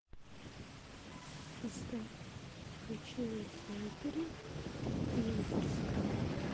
поставь ночные снайперы юнкерская